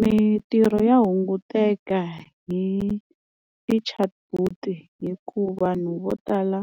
Mintirho ya hunguteka hi ti-chatbot hikuva vanhu vo tala